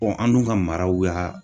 an dun ka maraw y'a